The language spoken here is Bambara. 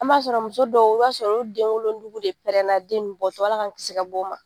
An b'a sɔrɔ muso dɔw i b'a sɔrɔ olu denwolonugu de prɛnna den ninnu bɔtɔ ALA k'an kiisi ka b'o ma.